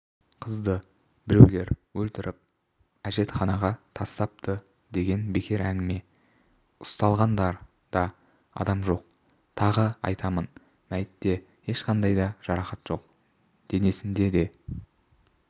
қызды біреулер өлтіріп әжетханаға тастапты деген бекер әңгіме ұсталған да адам жоқ тағы айтамын мәйітте ешқандай да жарақат жоқ денесінде де